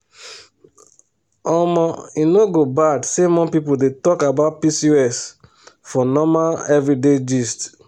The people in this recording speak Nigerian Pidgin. omo e no go bad say more people dey talk about pcos for normal everyday gist.